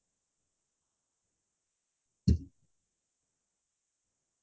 মই আজৰি সময়ত বিশেষ কৈ গান শুনি ভাল পাওঁ